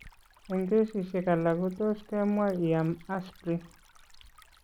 Eng' kesisiek alak ko tos' ke mwa ii am aspirin.